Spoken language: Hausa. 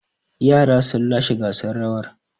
Yaran sun lashe gasar rawar.